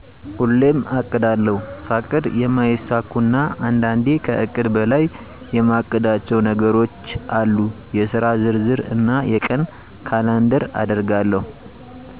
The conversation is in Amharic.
ሁሌሜ አቅዳለሁ። ሳቅድ የማሚሳኩኩ እና አንዳንዴ ከእቅድ በላይ የማቅዳቸው ነገሮቼ አሉ የስራ ዝርዝር እና የቀን ካላንደር አደርጋለሁ